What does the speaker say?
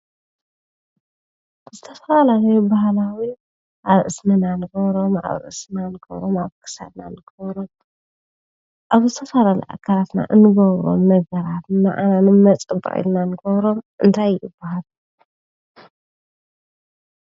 ዝተፈላለዩ ባህላዊ አብ እዝንና እንገብሮም ኣብ ርእስና እንገብሮም አብ ክሳድና እንገብሮም አብ ዝተፈላለዩ አካላትና እንገብሮም ነገራት ንመ ንመፀበቂ ኢልና እንገብሮም እንታይ ይባሃሉ?